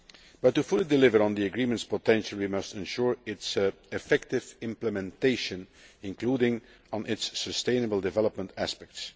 But to fully deliver on the Agreement's potential, we must ensure its effective implementation, including its sustainable development aspects.